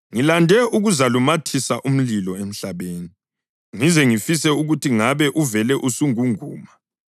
“Ngilande ukuzalumathisa umlilo emhlabeni, ngize ngifise ukuthi ngabe uvele usungunguma!